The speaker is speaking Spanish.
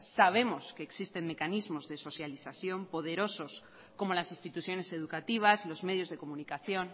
sabemos que existen mecanismos de socialización poderosos como las instituciones educativas los medios de comunicación